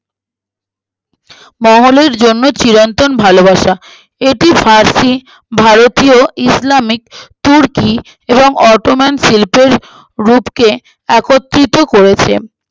মহলের জন্য চিরন্তর ভালোবাসা এটি ফার্সি ভারতীয় ইসলামিক তুর্কী এবং automan শিল্পের রূপকে একত্রিত করেছে